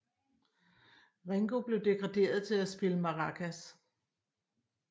Ringo blev degraderet til at spille maracas